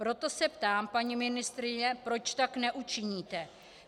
Proto se ptám, paní ministryně, proč tak neučiníte.